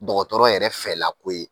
Dɔgɔtɔrɔ yɛrɛ fɛ lako ye.